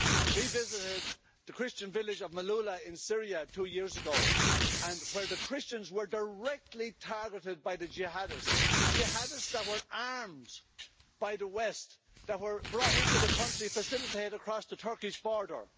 We visited the Christian village of Maaloula in Syria two years ago and where the Christians were directly targeted by the Jihadists, Jihadists that were armed by the West, that were brought into the country, facilitated across the Turkish border.